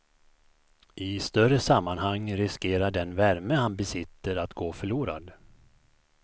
I större sammanhang riskerar den värme han besitter att gå förlorad.